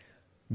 Friends,